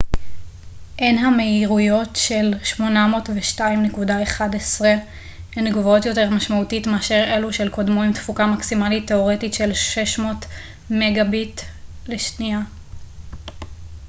המהירויות של 802.11n הן גבוהות יותר משמעותית מאשר אלו של קודמו עם תפוקה מקסימלית תאורטית של 600 מגה־ביט/שנייה